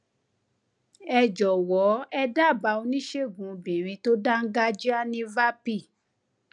ẹ jọwọ ẹ dábàá oníṣègùn obìnrin tó dáńgájíá ní vapi